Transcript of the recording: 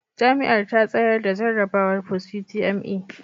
Jami'ar ta tsayar da jarrabawar Post utme